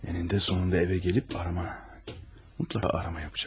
Ənində sonunda evə gəlib arama, mütləq arama yapacaq.